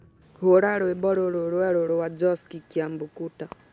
hura rwĩmbo rũrũ rwerũ rwa Josky kiambukuta